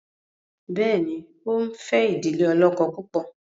béèni o nfe idile olókó púpọ?